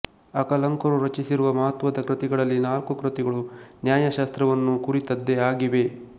ಅಕಲಂಕರು ರಚಿಸಿರುವ ಮಹತ್ವದ ಕೃತಿಗಳಲ್ಲಿ ನಾಲ್ಕು ಕೃತಿಗಳು ನ್ಯಾಯಶಾಸ್ತ್ರವನ್ನು ಕುರಿತದ್ದೇ ಆಗಿವೆ